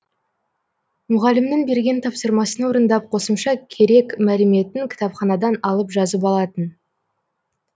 мұғалімнің берген тапсырмасын орындап қосымша керек мәліметін кітапханадан алып жазып алатын